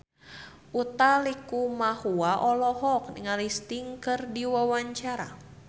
Utha Likumahua olohok ningali Sting keur diwawancara